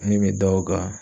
Ne be da o kan